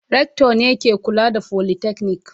Rector ne ke kula da folytechnic.